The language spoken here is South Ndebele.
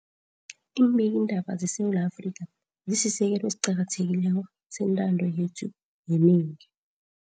Iimbikiindaba zeSewula Afrika Zisisekelo Esiqakathekileko Sentando Yethu Yenengi